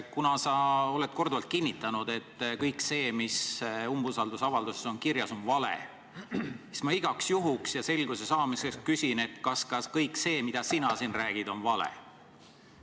Kuna sa oled korduvalt kinnitanud, et kõik see, mis umbusaldusavalduses on kirjas, on vale, siis ma igaks juhuks ja selguse saamiseks küsin, kas ka kõik see, mida sina siin räägid, on vale.